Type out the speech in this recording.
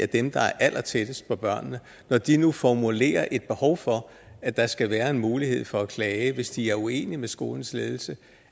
dem der er allertættest på børnene og når de nu formulerer et behov for at der skal være en mulighed for at klage hvis de er uenige med skolens ledelse